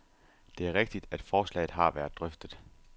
Det er rigtigt, at forslaget har været drøftet.